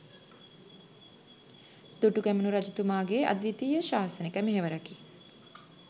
දුටුගැමුණු රජතුමාගේ අද්විතීය ශාසනික මෙහෙවරකි.